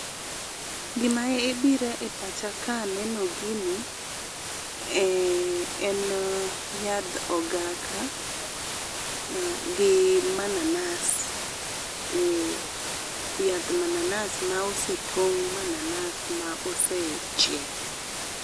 Gima e biro e pacha ka aneno gini e e, en yadh ogaka, ah gi mananas, eh. Yadh mananas ma osetong' mananas ma osechiek.